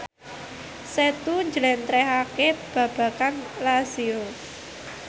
Setu njlentrehake babagan Lazio